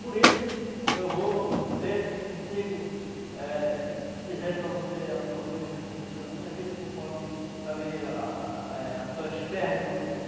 Por isso, eu vou ver se consigo eh dizer para você alguma coisa que aconteceu na minha vida conforme também ah ah eh as suas perguntas.